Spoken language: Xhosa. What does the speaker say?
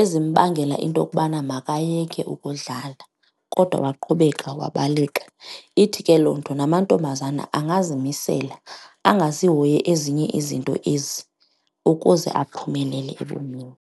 ezimbangela into yokubana makayeke ukudlala kodwa waqhubeka wabaleka. Ithi ke loo nto namantombazana angazimisela angazihoyi ezinye izinto ezi ukuze aphumelele ebomini.